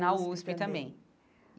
Na USP também.